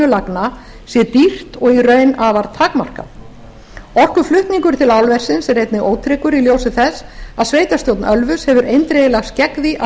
sé dýrt og í raun og veru afar takmarkað orkuflutningur til álversins er einnig ótryggur í ljósi þess að sveitarstjórn ölfuss hefur eindregið lagst gegn því að